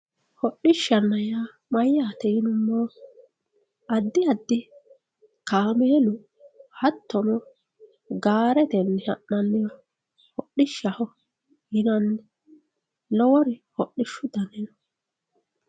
hodhishanna yaa mayaate yinummoro addi addi kameelu hatono gaaretenni ha'naniha hadhishaho yinanni lowori hodhishu dani no